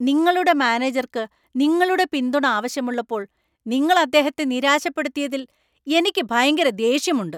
നിങ്ങളുടെ മാനേജർക്ക് നിങ്ങളുടെ പിന്തുണ ആവശ്യമുള്ളപ്പോൾ നിങ്ങൾ അദ്ദേഹത്തെ നിരാശപ്പെടുത്തിയതിൽ എനിക്ക് ഭയങ്കര ദേഷ്യമുണ്ട്.